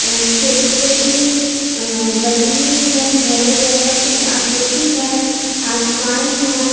अ छोटी-छोटी अ बनी हुई हैं घरों जैसा कुछ आकृति है आसमान है।